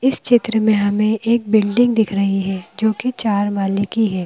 इस चित्र में हमें एक बिल्डिंग दिख रही है जो कि चार माले की है।